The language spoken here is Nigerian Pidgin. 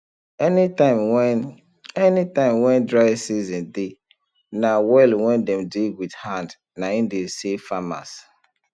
any tim wen any time wen dry season dey na well wen dem dig wit hand nai dey save farmers